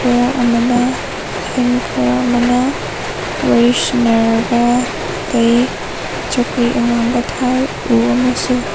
ꯑꯃꯅ ꯈꯔ ꯑꯃꯅ ꯋꯔꯤ ꯁꯥꯅꯔꯒ ꯂꯩ ꯆꯧꯀꯔꯤ ꯑꯉꯥꯡꯕ ꯊꯥꯏ ꯎ ꯑꯃꯁꯨ --